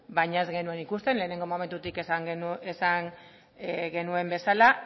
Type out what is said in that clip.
baina ez genuen ikusten lehengo momentutik esan genuen bezala